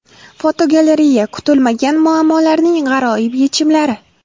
Fotogalereya: Kutilmagan muammolarning g‘aroyib yechimlari.